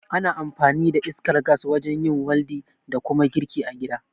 Ana amfani da iskar gas wajen yin waldi da kuma girki a gida